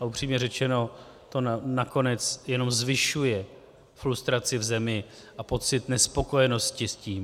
A upřímně řečeno to nakonec jenom zvyšuje frustraci v zemi a pocit nespokojenosti s tím.